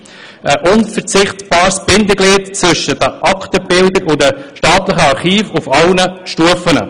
Es sei ein unverzichtbares Bindeglied zwischen den Aktenbildern und den staatlichen Archiven auf allen Stufen.